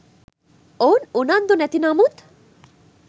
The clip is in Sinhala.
ඔවුන් උනන්දු නැති නමුත්